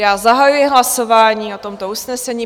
Já zahajuji hlasování o tomto usnesení.